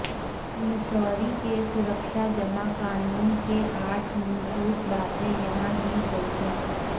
Missouri के सुरक्षा जमा कानून के आठ मूलभूत बातें यहां दी गई हैं